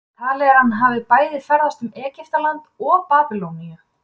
Talið er að hann hafi bæði ferðast um Egyptaland og Babýloníu.